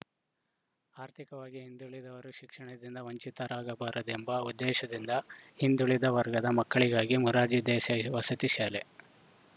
ಆರ್ಥಿಕವಾಗಿ ಹಿಂದುಳಿದವರು ಶಿಕ್ಷಣದಿಂದ ವಂಚಿತರಾಗಬಾರದೆಂಬ ಉದ್ದೇಶದಿಂದ ಹಿಂದುಳಿದ ವರ್ಗದ ಮಕ್ಕಳಿಗಾಗಿ ಮೊರಾರ್ಜಿ ದೇಸಾಯಿ ವಸತಿ ಶಾಲೆ